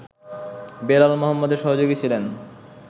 বেলাল মোহাম্মদের সহযোগী ছিলেন